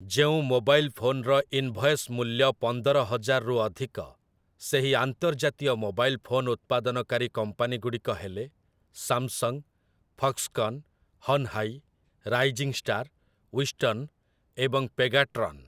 ଯେଉଁ ମୋବାଇଲ୍ ଫୋନ୍‌ର ଇନ୍‌ଭଏସ୍‌ ମୂଲ୍ୟ ପନ୍ଦର ହଜାରରୁ ଅଧିକ ସେହି ଆନ୍ତର୍ଜାତୀୟ ମୋବାଇଲ୍ ଫୋନ୍ ଉତ୍ପାଦନକାରୀ କମ୍ପାନୀଗୁଡ଼ିକ ହେଲେ Samsung, Foxconn, Hon Hai, Rising Star, Wistron ଏବଂ ପେଗାଟ୍ରନ୍ ।